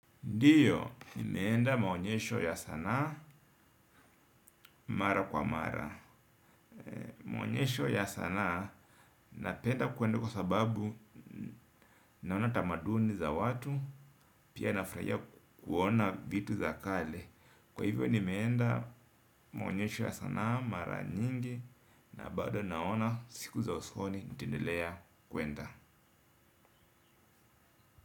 Ndiyo, nimeenda maonyesho ya sanaa, mara kwa mara. Maonyesho ya sanaa, napenda kwenda kwa sababu, naona tamaduni za watu, pia nafurahia kuona vitu za kale. Kwa hivyo nimeenda, maonyesho ya sanaa mara nyingi, na bado naona siku za usoni nitendelea kwenda.